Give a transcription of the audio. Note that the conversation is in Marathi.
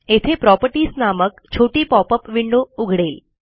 येथे प्रॉपर्टीज नामक छोटी पॉपअप विंडो उघडेल